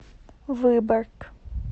выборг